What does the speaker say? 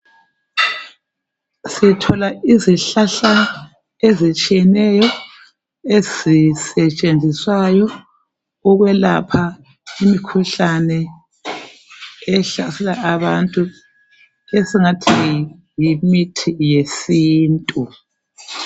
Sithola izihlahla ezitshiyeneyo ezisetshenziswayo ukwelapha umkhuhlane ehlasela abantu esingathi yimithi yesintu.